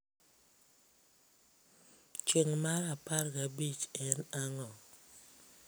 chieng' mar apar gi abich en ang'o